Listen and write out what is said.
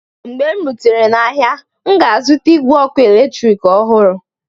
mgbe m rutere n'ahịa, m ga-azụta igwe eletrik ọhụrụ.